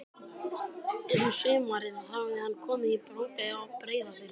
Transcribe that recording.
Um sumarið hafði hann komið í Brokey á Breiðafirði.